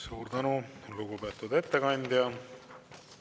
Suur tänu, lugupeetud ettekandja!